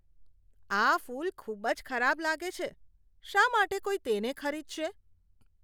આ ફૂલ ખૂબ જ ખરાબ લાગે છે. શા માટે કોઈ તેને ખરીદશે?